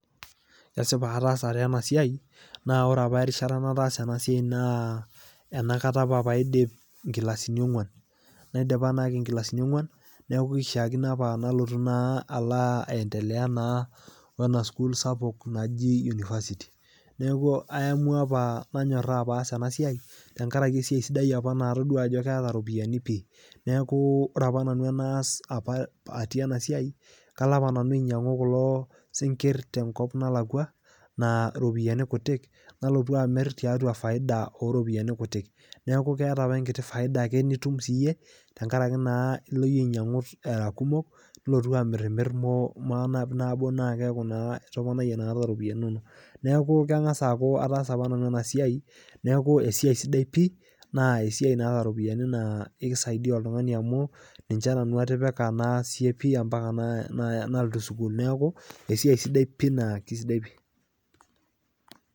Esipa ataasa taa ena siai, naa ore apa erishata nataasa ena siai naa nopakata paidip inkilasini ong'uan. Naidipa naake inkilasini ong'uan neaku neishakino apa nalotu naa aendelea naa wena sukul sapuk naji university neaku aemua apa nanyorra aas ena siai tenkaraki esiai sidai apa natodua ajo keeta iropiani pii. Neaku ore apa nanu enaas apa atii ena siai, kalo apa nanu ainyang'u kulo sinkir tenkop nalakua naa iropiani kutii, nalotu amir tiatua faida iropiani kuti. Neaku keata apa enkiti faida nitum siiyie tenkarake naa ilo iyie ainyang'u aa kumok nilotu amirmir maa nabo nabo naa keaku naa itoponayie nakata iropiani inono. Neaku keng'as aaku ataasa naa nanu ena siai neaku esiai sidai pii naa esiai naata iropiani naa keisaidia oltung'ani, amu ninche nanu atipika naasie pii ampaka nalotu sukuul neaku esiai sidai pii eisidai pii.